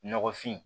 Nɔgɔfin